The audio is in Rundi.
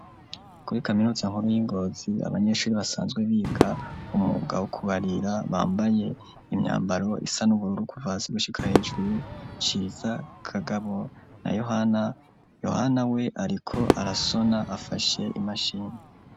Kuri kaminuza nkuru y'Ingozi, abanyeshure basanzwe biga umwuga wo kubarira, bambaye imyambaro isa n'ubururu kuva hasi gushika hejuru, Ciza, Kagabo na Yohana, Yohana we ariko arasona afashe imashini.